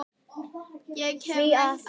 Ég hef reynt allt.